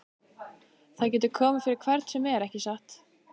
Það getur komið fyrir hvern sem er, ekki satt?